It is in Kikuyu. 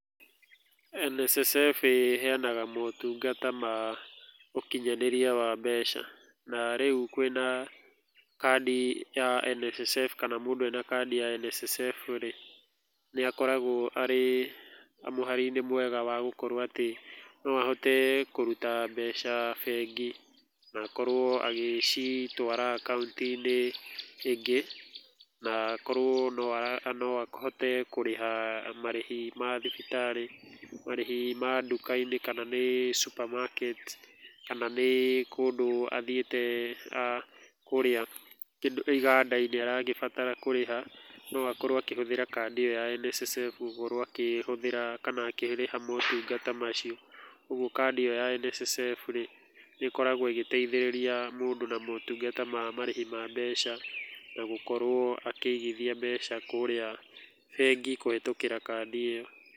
NSSF ĩheyanaga motũngata ma ũkĩnyanĩria wa mbeca, na rĩũ kwina kandi ya NSSF, kana mũndũ ena kandi ya NSSF-rĩ, nĩakoragwo arĩ mũharinĩ mwega wa gũkorwo atĩ noahote kũrũta mbeca bengi na akorwo agĩcitwara akaũnti-inĩ ĩngĩ, na akorwo noahote kũrĩha marĩhĩ mathibitarĩ, marĩhĩ ma manduka-inĩ, kana nĩ sumbamaketi, kana nĩ kũndũ athiĩte a kũrĩa. Kĩndu ta iganda-inĩ aragĩbatara kũrĩha noakorwo akĩhũthĩra kandĩ iyo ya NSSF gukorwo akĩhũthĩra kana akĩrĩha motũngata macio. Ũguo kandi iyo ya NSSF-rĩm nĩikoragwo igĩteithĩrĩria mũndũ na motũngata ma marĩhi wa mbeca na gũkorwo akĩigithia mbeca kũrĩa bengi kũhĩtũkĩra kandi iyo.